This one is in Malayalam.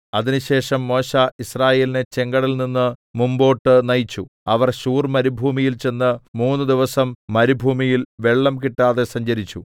അതിനുശേഷം മോശെ യിസ്രായേലിനെ ചെങ്കടലിൽനിന്ന് മുമ്പോട്ട് നയിച്ചു അവർ ശൂർമരുഭൂമിയിൽ ചെന്ന് മൂന്നുദിവസം മരുഭൂമിയിൽ വെള്ളം കിട്ടാതെ സഞ്ചരിച്ചു